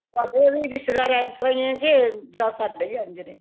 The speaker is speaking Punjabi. ਤੁਹਾਡੇ ਵੀ ਰਿਸ਼ਤੇਦਾਰ ਇਸਤਰਾਂ ਹੀਏ ਕੇ ਆ ਜਾਂ ਸਾਡੇ ਹੀ ਇੰਝ ਨੇ